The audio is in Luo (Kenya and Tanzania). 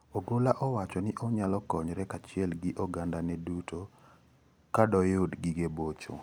ogola owacho ni onyalo konyre kachiel gi oganda ne duto kadoyudi gige bocho.